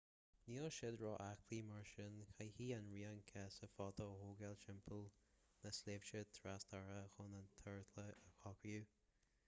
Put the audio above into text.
níl siad ró-aclaí mar sin caithfidh an rian casadh fada a thógáil timpeall na sléibhte trasartacha chun an t-ardchlár a shroicheadh